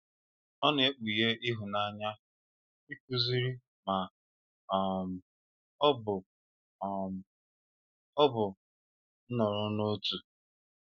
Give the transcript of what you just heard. Ọ na-ekpughe ịhụnanya, ịkụziri, ma um ọ bụ um ọ bụ nọrọ n'otu.